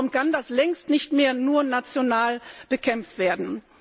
Darum kann das längst nicht mehr nur national bekämpft werden.